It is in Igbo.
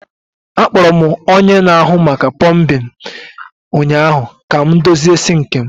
Akpọrọ m onye na-ahụ maka pọmbin ụnyaahụ ka m dozie sinki m.